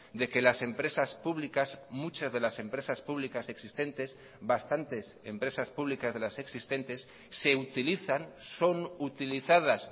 de que las empresas públicas muchas de las empresas públicas existentes bastantes empresas públicas de las existentes se utilizan son utilizadas